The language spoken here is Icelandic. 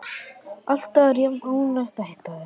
Alltaf er jafn ánægjulegt að hitta þig.